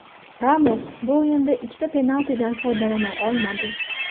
Ramos bu o‘yinda ikkita penaltidan foydalana olmadi.